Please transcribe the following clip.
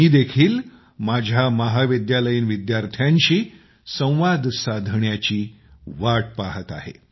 मी देखील माझ्या महाविद्यालयीन विद्यार्थ्याशी संवाद साधण्याची वाट पाहत आहे